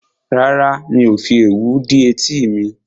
Rárá, mi ò fi òwú dí etí mi